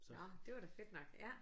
Nåh det var da fedt nok ja